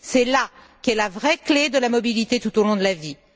C'est là qu'est la vraie clé de la mobilité tout au long de la vie.